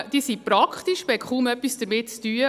Diese sind praktisch, man hat kaum etwas damit zu tun.